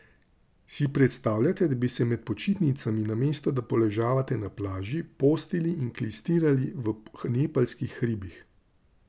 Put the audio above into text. Si predstavljate, da bi se med počitnicami, namesto da poležavate na plaži, postili in klistirali v nepalskih hribih?